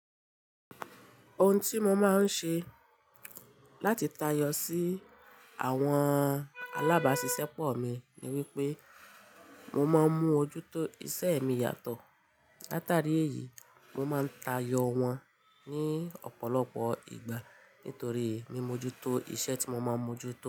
Ohun tí mo máa ń ṣe láti tayọ sí àwọn alábáṣiṣẹ́pọ̀ mi ni wípé mo máa ń mú ojú tó iṣẹ́ mi yàtọ̀. Látàrí èyí, mo máa ń tayọ̀ wọ́n ní ọ̀pọ̀lọpọ̀ ìgbà nítorí mimojutó iṣẹ́ tí mo máa ń mojutó.